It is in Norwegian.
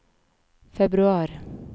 februar